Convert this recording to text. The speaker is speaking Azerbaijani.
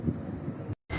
Niyə belə səs gəlir?